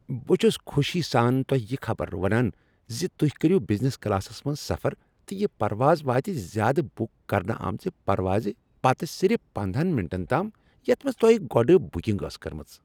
بہٕ چھُس خوشی سان تۄہہ یہ خبر ونان زِ تُہۍ کٔرو بزنس کلاسس منٛز سفر تہٕ یہ پرواز واتہِ زیادٕ بُک کرنہٕ آمٕژ پرواز پتہٕ صرف پندہَن مِنٹن تام یتھ منٛز تۄہہ گۄڑٕ بکنگ ٲس کٔرمٕژ۔